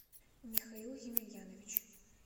михаил емельянович